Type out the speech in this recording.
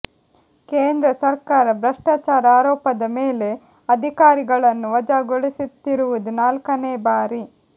ಕೇಂದ್ರ ಸರ್ಕಾರ ಭ್ರಷ್ಟಾಚಾರ ಆರೋಪದ ಮೇಲೆ ಅಧಿಕಾರಿಗಳನ್ನು ವಜಾಗೊಳಿಸುತ್ತಿರುವುದು ನಾಲ್ಕನೆ ಬಾರಿ